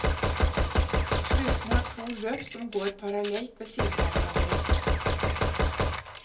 Slusene har to løp som går parallelt ved siden av hverandre.